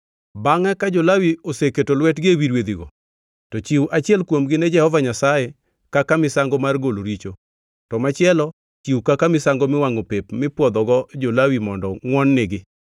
“Bangʼ ka jo-Lawi oseketo lwetgi ewi rwedhigo, to chiw achiel kuomgi ne Jehova Nyasaye kaka misango mar golo richo, to machielo chiw kaka misango miwangʼo pep mipwodhogo jo-Lawi mondo ngʼwon-nigi.